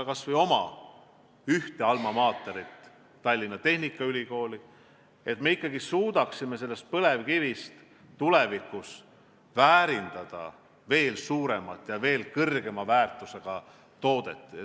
– kas või ühte meie alma mater'it, Tallinna Tehnikaülikooli, et me suudaksime põlevkivi väärindades toota veel suurema väärtusega tooteid.